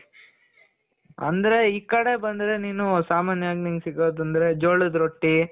ಅಂದ್ರೆ ಈ ಕಡೆ ಬಂದ್ರೆ ನೀನು ಸಾಮಾನ್ಯವಾಗಿ ನಿನ್ಗೆ ಸಿಗೋದು ಅಂದ್ರೆ ಜೋಳದ ರೊಟ್ಟಿ